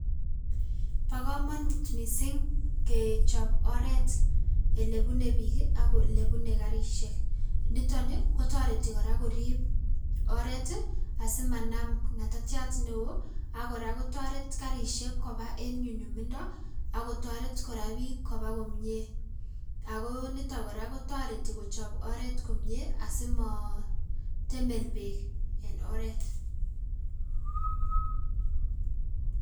Bo komonut missing' kechob oret ilebune biik ak ilebune karisiek niton ni kotoreti kora korib oret asimanam ng'atatek neo ak kora kotoret karisiek koba en nyunyumindo ak kotoret kora biik koba komie ago niton kora kotoreti kochob oret komi asimootemel beek en oret.